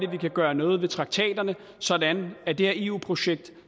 vi kan gøre noget ved traktaterne sådan at det her eu projekt